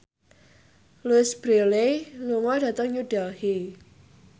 Louise Brealey lunga dhateng New Delhi